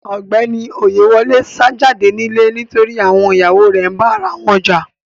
Ọgbẹni Oyèwòlè sá jàdé nilẹ̀ nítorí àwọn iyàwọ rè nbá arawọn jà.